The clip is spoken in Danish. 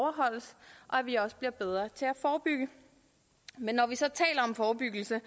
at vi også bliver bedre til at forebygge men når vi så taler om forebyggelse